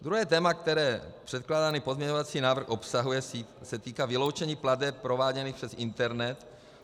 Druhé téma, které předkládaný pozměňovací návrh obsahuje, se týká vyloučení plateb prováděných přes internet.